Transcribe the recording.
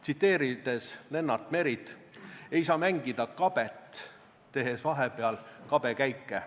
Tsiteerides Lennart Merit: "Ei saa mängida kabet, tehes vahepeal kabekäike.